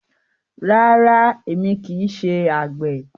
Rárá, èmi kì í ṣe àgbẹ̀.